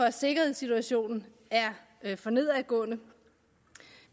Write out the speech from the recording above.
at sikkerhedssituationen er for nedadgående